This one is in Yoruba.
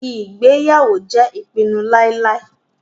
Ìgbéyàwó jẹ́ ìpinu láíláí.